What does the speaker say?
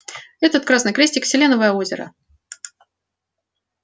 этот красный крестик селеновое озеро